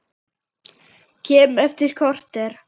Kem eftir korter!